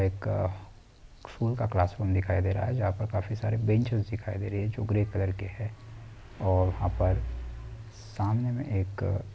एक स्कूल का क्लासरूम दिखाई दे रहा है जहां पर काफी सारे बेंचेज दिखाई दे रहे हैं जो ग्रे कलर के हैं और वहाँ पर सामने में एक --